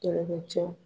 Kɛlɛkɛcɛw